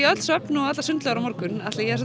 öll söfn og í allar sundlaugar á morgun Atli ég er